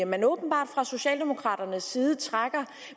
man åbenbart fra socialdemokraternes side trækker